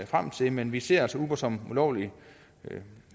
frem til men vi ser altså uber som ulovlig